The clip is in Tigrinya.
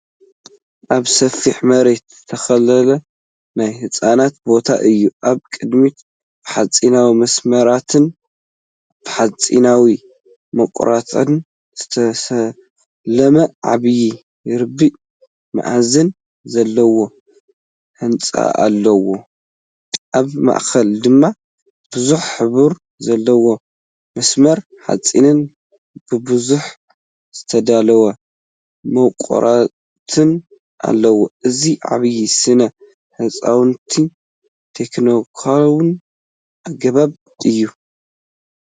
ኣብ ሰፊሕ መሬት ዝተተኽለ ናይ ህንፀት ቦታ እዩ። ኣብ ቅድሚት ብሓጺናዊ መስመራትን ብሓጺናዊ መዋቕራትን ዝተሰለመ ዓቢ ርብዒ-መኣዝን ዘለዎ ህንጻኣሎ። ኣብ ማእከል ድማ ብዙሕ ሕብሪ ዘለዎ መስመር ሓጺንን ብብዝሒ ዝተዳለዉ መዋቕራትን ኣሎ። እዚ ዓቢ ስነ ህንጻውን ቴክኒካውን ኣገባብ እዩ።